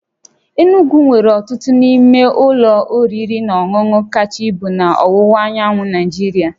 Enugwu nwere otu n'ime ụlọ oriri na ọṅụṅụ kacha ibu na ọwụwa anyanwụ Nigeria